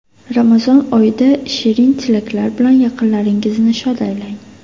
Ramazon oyida #SherinTilaklar bilan yaqinlaringizni shod aylang.